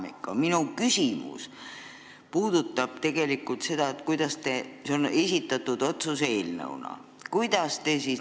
Aga minu küsimus puudutab tegelikult seda, et see dokument on esitatud otsuse eelnõuna.